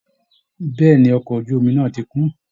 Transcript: Bẹ́ẹ̀ ni, ọkọ̀ ojú omi náà ti kún